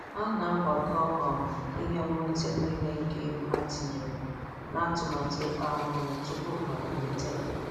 Ha na-agbakọ um ihe.nnweta nile nke ego ha tinyere n'atụmatụ ikpa anụ ụlọ tupu ha amalite.